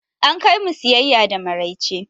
An kai mu siyaya da maraice.